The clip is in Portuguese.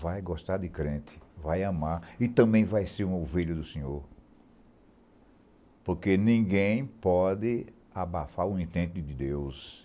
vai gostar de crente, vai amar e também vai ser um ovelho do senhor, porque ninguém pode abafar o intento de Deus.